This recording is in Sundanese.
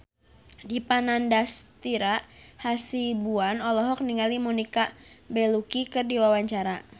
Dipa Nandastyra Hasibuan olohok ningali Monica Belluci keur diwawancara